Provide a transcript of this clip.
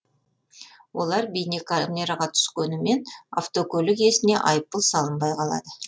олар бейнекамераға түскенімен автокөлік иесіне айыппұл салынбай қалады